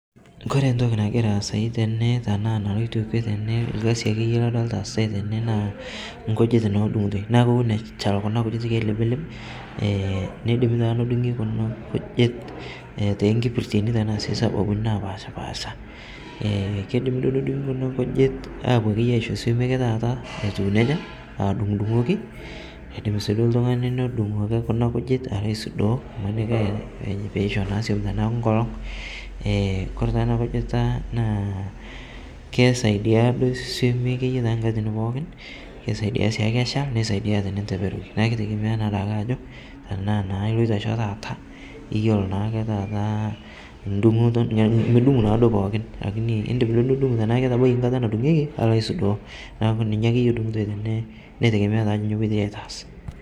Kore ntoki nagiraa aasai tenee tanaa naloito kwee tenee lgazi akeye ladolita easitai tene naa nkujit naa edung'utoi naa kowon echal kuna kujit keiliblib neidim taa nedung'i kuna kujit tenkipirteni tanaa sii tesababubi napashpaasha keidimi duo nedung'i kuna kujit apuo akeye aicho somii akeye taata etuu neja aa idung'dung'oki keidim sii duo ltung'ani nodung' ake kuna kujit aloo aisudoo imanikii peishoo naa suom tanaaku nkolong' kore taa ana kujita naa keisaidia duo suomii tankatitin pookin, keisaidia siake echal neisaidia tininteperoki naa keitegemea naaduake ajo tanaa naa iloito aisho taata iyolo naake taata ndung'oto kodung' mudung' naado pookin lakini indim naaduo atundung'o tanaa ketabaka nkata nadung'ekii aloo aisudoo naaku ninye akeye edung'utoi tenee neitegemea taa ajo nyo epoitoi aitaas.